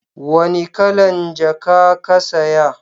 wani kalan jaka ka saya?